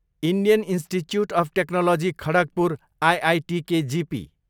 Indian Institute of Technology Kharagpur, IITKGP